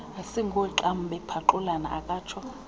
asingooxam bephaxulana akatsho